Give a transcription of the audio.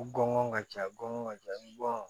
U gɔngɔn ka ca gɔngɔn ka jan bɔn